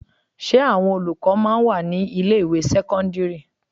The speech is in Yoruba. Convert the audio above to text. Ṣé àwọn olùkọ́ máa ń wà ní ilé ìwé sẹ́kọ́ńdírì?